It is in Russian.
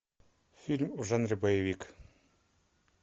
фильм в жанре боевик